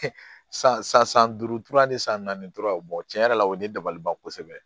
san san san duuru tura ni san naani tora tiɲɛ yɛrɛ la o ye ne dabaliban kosɛbɛ